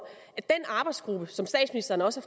at den arbejdsgruppe som statsministeren også